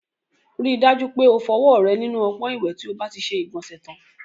Rí i dájú pé o fọwọ́ rẹ nínú ọpọ́n ìwẹ̀ tí o bá ti ṣe ìgbọ̀nsẹ̀ tán.